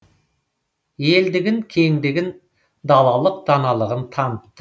елдігін кеңдігін далалық даналығын танытты